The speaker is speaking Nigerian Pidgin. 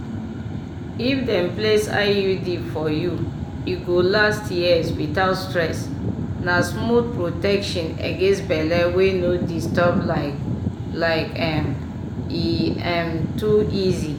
if dem place iud for you e go last years without stress na smooth protection against belle wey no disturb like like um e um too easy!